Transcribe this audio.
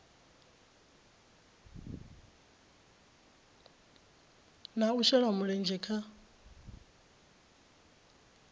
na u shela mulenzhe kha